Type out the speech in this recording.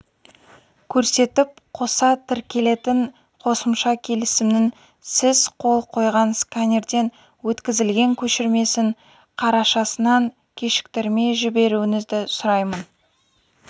көрсетіп қоса тіркелетін қосымша келісімнің сіз қол қойған сканерден өткізілген көшірмесін қарашасынан кешіктірмей жіберуіңізді сұраймын